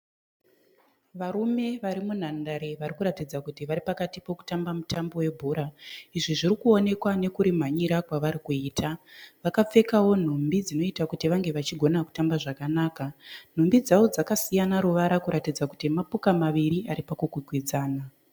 Varume varimunhandare varikuratidza kuti vari pakati pekutamba mutambo vebhora izvi zvirikuonekwa nekurimhanyira kwavarikuita vakapfekawo nhumbi dzinoita kuti vange vachiona kutamba zvakanaka nhumbi dzawo dzakasiyana kuratidza kuti mapoka maviri aripakukwikwidzana